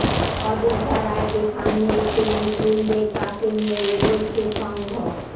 অযোধ্যা রায়কে সামনে রেখে মুসলিমদের পাশে নিয়েই এগোচ্ছে সঙ্ঘ